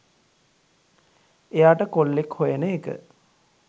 එයාට කොල්ලෙක් හොයන එක